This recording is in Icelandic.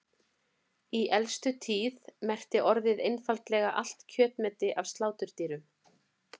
Í elstu tíð merkti orðið einfaldlega allt kjötmeti af sláturdýrum.